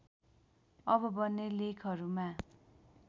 अब बन्ने लेखहरूमा